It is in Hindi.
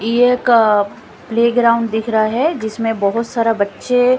ये एक प्लेग्राउंड दिख रहा है जिसमें बहोत सारा बच्चे--